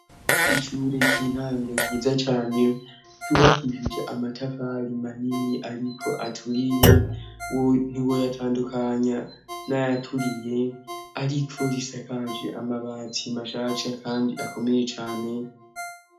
Ishure ry'intango ryiza cane, ryubakishije amatafari manini ariko aturiye, wowe ntiwoyatandukanya n'ayaturiye, ariko risakaje amabati mashasha kandi akomeye cane.